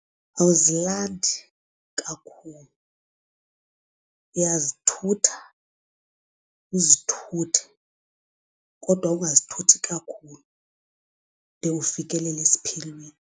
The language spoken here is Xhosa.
Awuzilandi kakhulu uyazithutha uzithuthe kodwa ukungazithathi kakhulu de ufikelele esiphelweni.